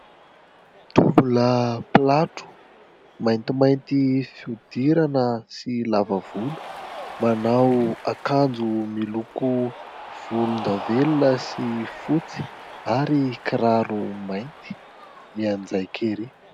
Tovolahy mpilatro, maintimainty fihodirana sy lava volo ; manao akanjo miloko volondavenona sy fotsy, ary kiraro mainty ; mianjaika erỳ !